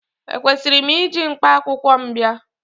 Ekwesịrị m iji mkpakwụkwọ m bịa?